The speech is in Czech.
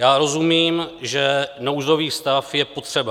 Já rozumím, že nouzový stav je potřeba.